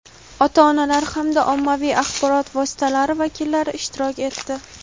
ota-onalar hamda ommaviy axborot vositalari vakillari ishtirok etdi.